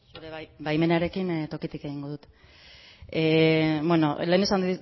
zure baimenarekin tokitik egingo dut lehen esan